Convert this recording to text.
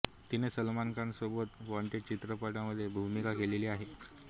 तिने सलमान खान सोबत वॉंटेड चित्रपटात भुमिका केलेली आहे